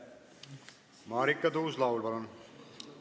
Marika Tuus-Laul, palun!